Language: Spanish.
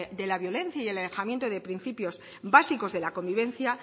de la violencia y el alejamiento de principios básicos de la convivencia